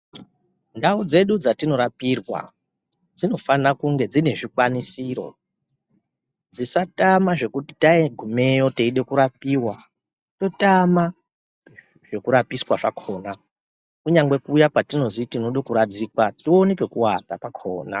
Ndau dzedu dzatinorapirwa dzinofana kunge dzine zvikwanisiro, zvisatama zvekuti tagumeyo teide kurapiwa totama zvekurapiswa zvakhona kunyangwe kuya patinozi tinoda kuradzikwa tione pekuata pakhona.